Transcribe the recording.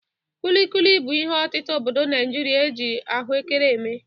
Kulikuli bụ ihe ọtịta obodo Naịjịrịa e ji ahụekere eme.